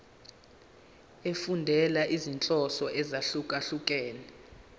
efundela izinhloso ezahlukehlukene